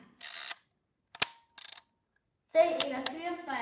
Þau eiga sjö börn.